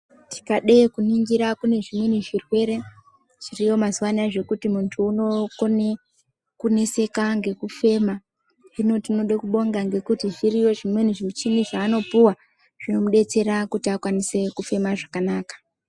Tikade kuningira kunezvimweni zvirwere zviriyo mazuwanai zvekuti munhu unokona kuneseka ngekufema hino tinoda kubonga ngekuti zviriyo zvimweni zvimweni zvimuchini zvaanopuwa zvinomubatsira kuti afeme zvakanaka